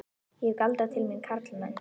Ég hef galdrað til mín karlmenn.